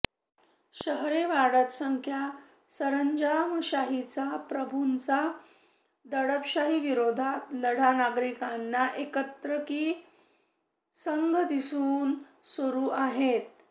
शहरे वाढत संख्या सरंजामशाहीचा प्रभूंचा दडपशाही विरोधात लढा नागरिकांना एकत्र की संघ दिसून सुरु आहेत